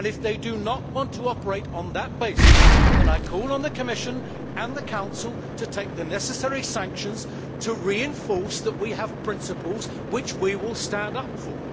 If they do not want to operate on that basis, I call on the Commission and the Council to take the necessary sanctions to reinforce the fact that we have principles which we will stand up for.